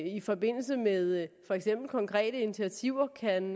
i forbindelse med for eksempel konkrete initiativer kan